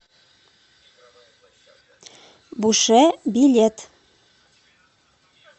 буше билет